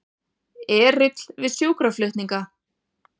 Erill við sjúkraflutninga